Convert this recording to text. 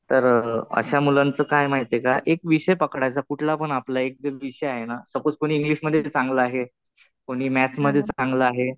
तर अशा मुलांचं काय माहितीये का, एक विषय पकडायचा कुठलापण आपला जो विषय आहे ना. सपोझ कुणी इंग्लिश मध्ये चांगलं आहे. कुणी मॅथ्स मध्ये चांगलं आहे.